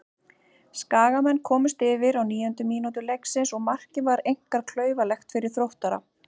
Skagamenn komust yfir á níundu mínútu leiksins og markið var einkar klaufalegt fyrir Þróttara.